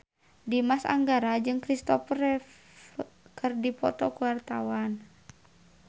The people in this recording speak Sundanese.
Dimas Anggara jeung Christopher Reeve keur dipoto ku wartawan